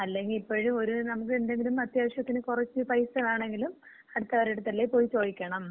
അല്ലെങ്കി ഇപ്പഴും ഒര് നമുക്ക് എന്തെങ്കിലും അത്യാവിശ്യത്തിന് കൊറച്ച് പൈസ വേണോങ്കിലും അടുത്തവരടത്തല്ലേ പോയി ചോദിക്കണം?